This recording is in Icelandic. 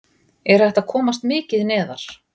Er hægt að komast mikið neðar??